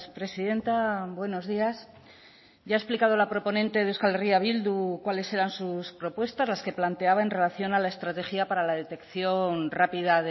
presidenta buenos días ya ha explicado la proponente de euskal herria bildu cuáles eran sus propuestas las que planteaba en relación a la estrategia para la detección rápida